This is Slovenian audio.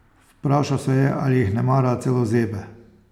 Vprašal se je, ali jih nemara celo zebe.